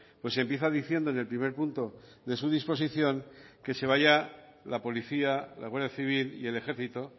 pues empieza diciendo en el primer punto de su disposición que se vaya la policía la guardia civil y el ejército